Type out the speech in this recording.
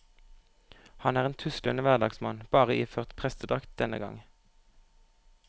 Han er en tuslete hverdagsmann, bare iført prestedrakt denne gang.